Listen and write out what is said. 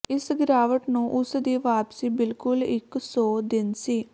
ਇਸ ਗਿਰਾਵਟ ਨੂੰ ਉਸ ਦੀ ਵਾਪਸੀ ਬਿਲਕੁਲ ਇੱਕ ਸੌ ਦਿਨ ਸੀ